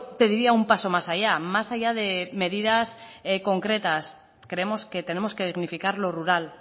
pediría un paso más allá más allá de medidas concretas creemos que tenemos que dignificar lo rural